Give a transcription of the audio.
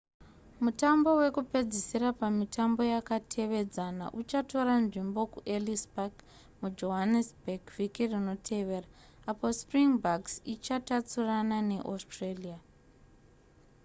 mutambo wekupedzisira pamitambo yakatevedzana uchatora nzvimbo kuellis park mujohannesburg vhiki rinotevera apo springboks ichatatsurana neaustralia